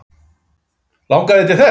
Langar þig til þess?